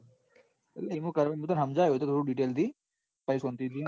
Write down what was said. એમાં એ તો સમજાયો હું તને detail થી પછી તું સમજી જઈસ.